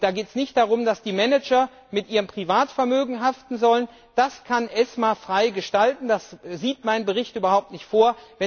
Da geht es nicht darum, dass die Manager mit ihrem Privatvermögen haften sollen, das kann ESMA frei gestalten, das sieht mein Bericht überhaupt nicht vor.